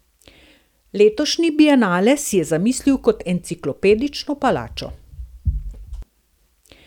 Letošnji bienale si je zamislil kot Enciklopedično palačo.